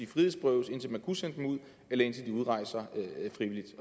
frihedsberøves indtil man kunne sende dem ud eller indtil de udrejste frivilligt